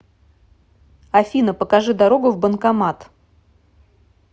афина покажи дорогу в банкомат